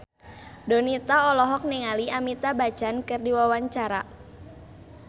Donita olohok ningali Amitabh Bachchan keur diwawancara